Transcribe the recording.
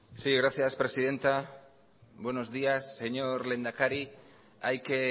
gracias presidenta buenos días señor lehendakari hay que